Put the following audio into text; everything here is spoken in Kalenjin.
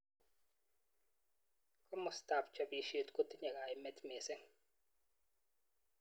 Kimosta ab chobishet kotinye kaimet mising.